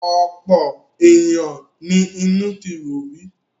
Ọ̀pọ̀ ènìyàn mi inú ti ro rí.